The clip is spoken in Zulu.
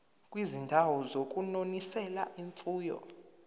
kwizindawo zokunonisela imfuyo